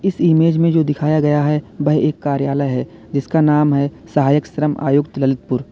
इस इमेज में जो दिखाया गया है वह एक कार्यालय है जिसका नाम है सहायक श्रम आयुक्त ललितपुर।